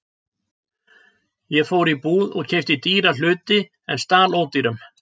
Ég fór í búð og keypti dýra hluti en stal ódýrum.